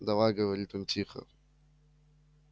давай говорит он тихо